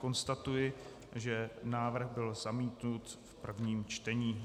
Konstatuji, že návrh byl zamítnut v prvním čtení.